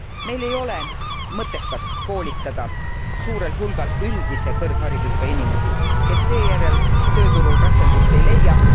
Meil ei ole mõttekas koolitada suurel hulgal üldise kõrgharidusega inimesi, kes seejärel tööturul rakendust ei leia.